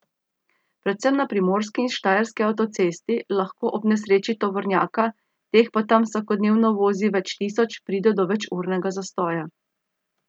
Predvsem na primorski in štajerski avtocesti lahko ob nesreči tovornjaka, teh pa tam vsakodnevno vozi več tisoč, pride do večurnega zastoja.